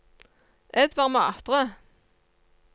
Edvard Matre